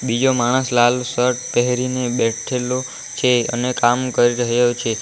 બીજો માણસ લાલ શર્ટ પેહરીને બેઠેલો છે અને કામ કરી રહ્યો છે.